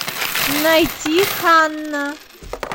найти ханна